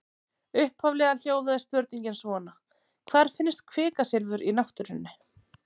Upphaflega hljóðaði spurningin svona: Hvar finnst kvikasilfur í náttúrunni?